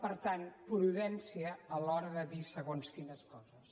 per tant prudència a l’hora de dir segons quines coses